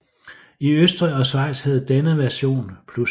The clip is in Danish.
I Østrig og Schweiz hedder denne version Plus